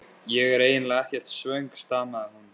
Ég er eiginlega ekkert svöng stamaði hún.